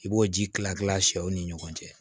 I b'o ji tila kila siɲɛw ni ɲɔgɔn cɛ